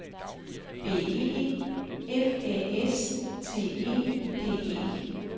B E F Æ S T E D E